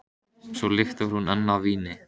Svo lyktar hún enn af víni.